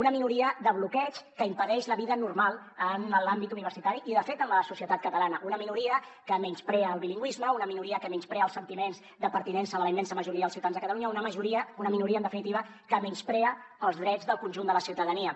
una minoria de bloqueig que impedeix la vida normal en l’àmbit universitari i de fet en la societat catalana una minoria que menysprea el bilingüisme una minoria que menysprea els sentiments de pertinença de la immensa majoria dels ciutadans de catalunya una minoria en definitiva que menysprea els drets del conjunt de la ciutadania